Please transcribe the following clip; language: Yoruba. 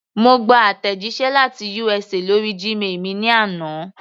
Mo gba àtẹ̀jíṣẹ́ láti USA lórí Gmail mi ní àná.